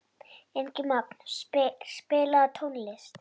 Ingimagn, spilaðu tónlist.